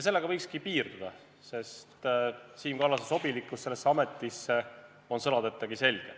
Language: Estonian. Sellega võikski piirduda, sest Siim Kallase sobilikkus sellesse ametisse on sõnadetagi selge.